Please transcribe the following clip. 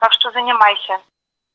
так что занимайся